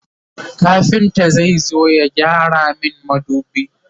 kafinta zai zo ya gyara min madubi